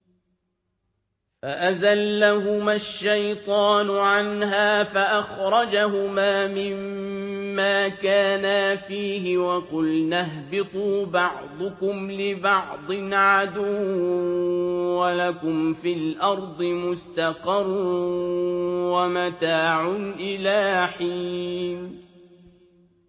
فَأَزَلَّهُمَا الشَّيْطَانُ عَنْهَا فَأَخْرَجَهُمَا مِمَّا كَانَا فِيهِ ۖ وَقُلْنَا اهْبِطُوا بَعْضُكُمْ لِبَعْضٍ عَدُوٌّ ۖ وَلَكُمْ فِي الْأَرْضِ مُسْتَقَرٌّ وَمَتَاعٌ إِلَىٰ حِينٍ